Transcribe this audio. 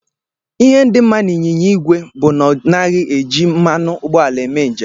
Ihe dị mma n'ịnyịnya igwe bụ na ọ naghị eji mmanụ ụgbọala eme njem.